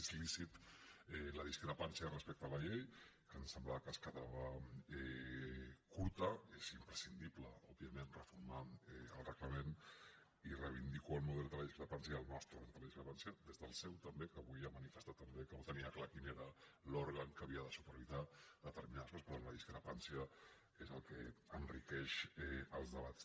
és lícita la discrepància respecte a la llei que ens semblava que es quedava curta és imprescindible òbviament reformar el reglament i reivindico el meu dret a la discrepància el nostre dret a la discrepància des del seu també que avui ha manifestat també que no tenia clar quin era l’òrgan que havia de supervisar determinades coses però la discrepància és el que enriqueix els debats